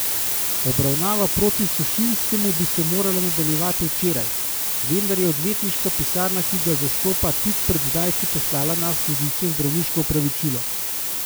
Obravnava proti Sušinskemu bi se morala nadaljevati včeraj, vendar je odvetniška pisarna, ki ga zastopa, tik pred zdajci poslala na sodišče zdravniško opravičilo.